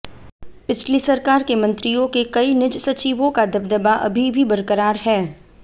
पिछली सरकार के मंत्रियों के कई निज सचिवों का दबदबा अभी भी बरकरार है